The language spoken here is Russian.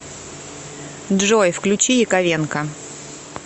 джой включи яковенко